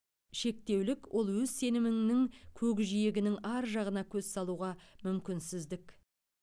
шектеулік ол өз сеніміңнің көкжиегінің ар жағына көз салуға мүмкінсіздік